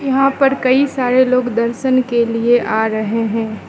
यहां पर कई सारे लोग दर्शन के लिए आ रहे है।